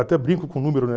Até brinco com o número, né?